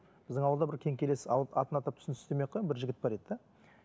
біздің ауылда бір кеңкелес атын атап түсін түстемей ақ қояйын бір жігіт бар еді де